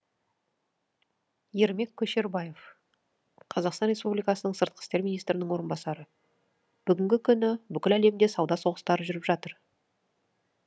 ермек көшербаев сыртқы істер министрінің орынбасары бүгінгі күні бүкіл әлемде сауда соғыстары жүріп жатыр